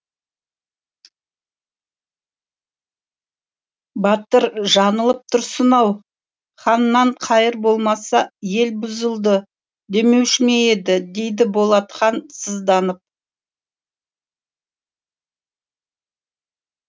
батыр жаңылып тұрсың ау ханнан қайыр болмаса ел бұзылды демеуші ме еді дейді болат хан сызданып